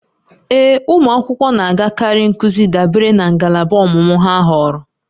Ee, ụmụ akwụkwọ na-agakarị nkuzi dabere na ngalaba ọmụmụ ha họọrọ